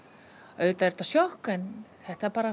auðvitað er þetta sjokk en þetta